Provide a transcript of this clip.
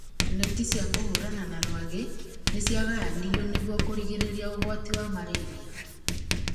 Neti cia kũhũrana na rwagĩ nĩ ciagayanirio nĩguo kũrigĩrĩria ũgwati wa malaria